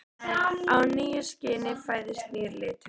Í nýju skini fæðist nýr litur.